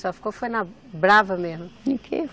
Só ficou, foi na brava mesmo?